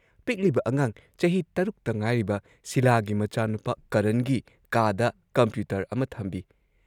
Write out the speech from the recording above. ꯄꯤꯛꯂꯤꯕ ꯑꯉꯥꯡ ꯆꯍꯤ ꯶ ꯇ ꯉꯥꯏꯔꯤꯕ ꯁꯤꯂꯥꯒꯤ ꯃꯆꯥꯅꯨꯄꯥ ꯀꯔꯟꯒꯤ ꯀꯥꯗ ꯀꯝꯄ꯭ꯌꯨꯇꯔ ꯑꯃ ꯊꯝꯕꯤ ꯫